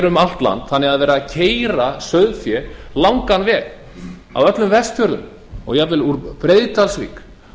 um allt land þannig að það er verið að keyra sauðfé um langan veg af öllum vestfjörðum og jafnvel úr breiðdalsvík